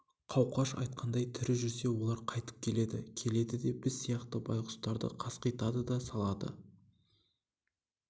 қауқаш айтқандай тірі жүрсе олар қайтып келеді келеді де біз сияқты байғұстарды қасқитады да салады